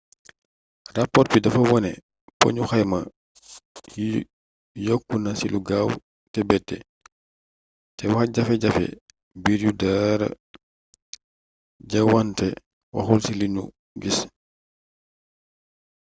rapoor bi dafa wone na poñu xayma yi yokku na ci lu gaaw te bette te waxjafe-jafe biir yu daara ja wante waxul ci li nu gis